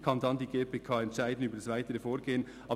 Dann kann die GPK über das weitere Vorgehen entscheiden.